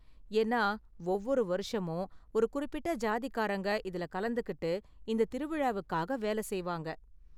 ஏன்னா ஒவ்வொரு வருஷமும் ஒரு குறிப்பிட்ட சாதிக்காரங்க இதுல கலந்துக்கிட்டு இந்த திருவிழாவுக்காக வேலை செய்வாங்க.